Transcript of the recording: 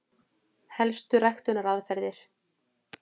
Helstu ræktunaraðferðir: